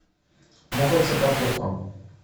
муха цокотуха